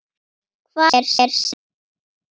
Hvað er seil?